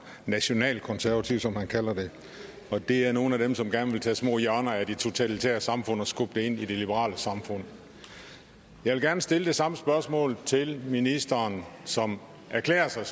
nationalkonservativ som han kalder det og det er nogle af dem som gerne vil tage små hjørner af de totalitære samfund og skubbe dem ind i det liberale samfund jeg vil gerne stille det samme spørgsmål til ministeren som erklærer sig